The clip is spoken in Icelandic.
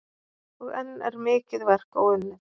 Og enn er mikið verk óunnið.